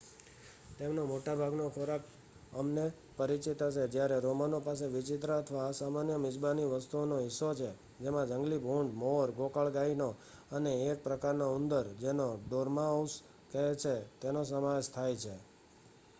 તેમનો મોટાભાગનો ખોરાક અમને પરિચિત હશે જ્યારે રોમનો પાસે વિચિત્ર અથવા અસામાન્ય મિજબાની વસ્તુઓનો હિસ્સો છે કે જેમાં જંગલી ભૂંડ મોર ગોકળગાયનો અને એક પ્રકારનો ઉંદર જેને ડોર્માઉસ કહે છે તેનો સમાવેશ થાય છે